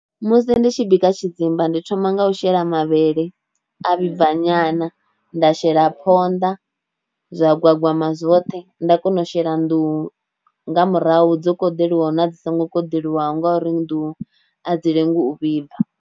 Musi ndi tshi bika tshidzimba ndi thoma nga u shela mavhele a vhibva nyana nda shela phonḓa zwa gwagwama zwoṱhe nda kona u shela nḓuhu nga murahu dzo koḓeliwaho na dzi songo koḓeliwaho nga uri nḓuhu a dzi lengi u vhibva.